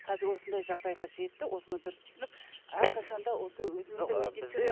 қазір осындай жағдайға жетті осыны дұрыс түсініп әрқашанда осы өзіміздің